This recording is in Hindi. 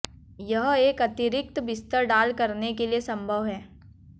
यह एक अतिरिक्त बिस्तर डाल करने के लिए संभव है